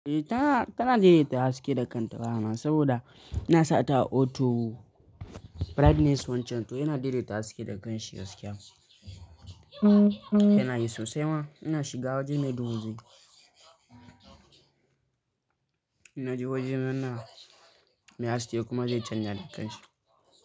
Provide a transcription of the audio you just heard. Eh tana, tana daidai ta haske da kan ta wayana saboda ina sa ta auto brightness wancan to yana daidaita haske da kanshi gaskiya. Yana yi sosai ma, ina shiga waje mai duhu zai Ina je wajen rana me haske kuma zai canja da kanshi.